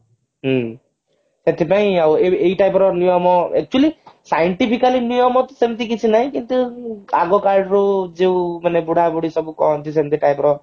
ହଁ ସେଥିପାଇଁ ଆଉ ଏଇ ଏଇ type ର ନିୟମ actually scientifically ନିୟମ ଅଛି ସେମତି କିଛି ନାଇଁ କିନ୍ତୁ ଆଗ କାଳରୁ ମାନେ ବୁଢା ବୁଡି ସବୁ କହନ୍ତି ସେମତି type ର